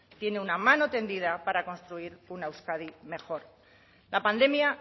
tiene una mano tendida para construir una euskadi mejor la pandemia